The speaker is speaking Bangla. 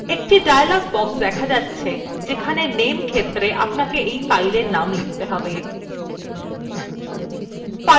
একটি dialog box দেখা যাচ্ছে যেখানে name ক্ষেত্রে আপনাকে fileএর name লিখতে হবে